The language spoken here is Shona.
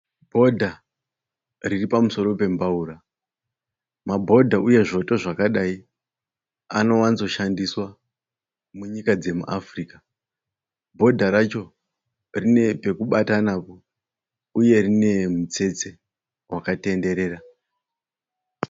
Bhodha riripamusoro pembaura. Mabhodha uye zvoto zvakadai anowanzoshandiswa munyika dzemuAfrica. Bhodha racho rinepekubata napo uye rinemitsetse wakatenderera.